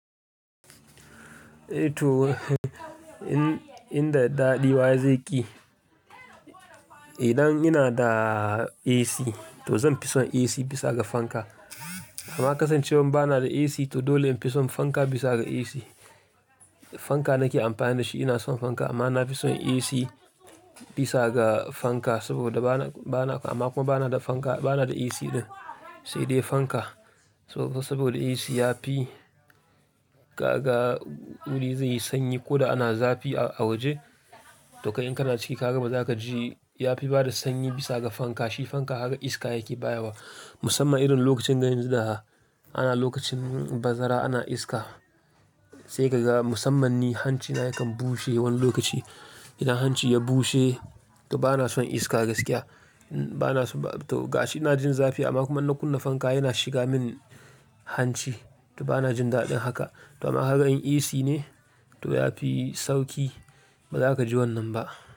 To, in, inda daɗi wa zai ƙi? Idan ina da AC to zan fi son AC bisa ga fanka. Amma kasancewan ba na da AC to dole in fi son fanka bisa ga AC. Fanka nake amfani da shi, ina son fanka amma na fi son AC bisa ga fanka saboda ba na, ba na, amma kuma ba na da fanka, ba na da AC ɗin sai dai fanka. Sabo-saboda AC ya fi kaga wuri zai yi sanyi ko da ana zafi a waje. To kai in ka na ciki kaga ba za ka ji ya fi bada sanyi bisa ga fanka. Shi fanka haka iska yake bayawa musamman irin lokacin na yanzu da. Ana lokacin bazara ana iska sai ka ga musammani hanci na yakan bushe wani lokaci. Idan hanci ya bushe to ba na son iska gaskiya. Ba na so, to ga shi ina jin zafi amma kuma na kunna fanka yana shiga min hanci to ba na jin daɗin haka. To amma kaga in AC ne to ya fi sauƙi ba za ka ji wannan ba.